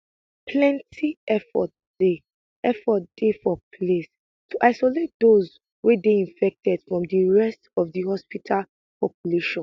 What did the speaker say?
plenti effort dey effort dey for place to isolate those wey dey infected from di rest of di hospital population